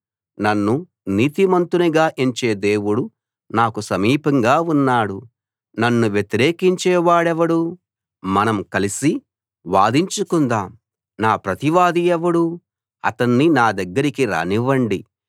నన్ను నీతిమంతునిగా ఎంచే దేవుడు నాకు సమీపంగా ఉన్నాడు నన్ను వ్యతిరేకించే వాడెవడు మనం కలిసి వాదించుకుందాం నా ప్రతివాది ఎవడు అతణ్ణి నా దగ్గరికి రానివ్వండి